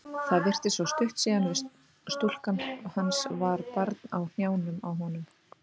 Það virtist svo stutt síðan að stúlkan hans var barn á hnjánum á honum.